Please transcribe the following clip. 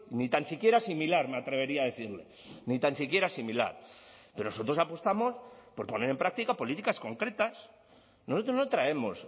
ni tan siquiera similar me atrevería a decirle ni tan siquiera similar pero nosotros apostamos por poner en práctica políticas concretas nosotros no traemos